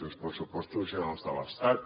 uns pressupostos generals de l’estat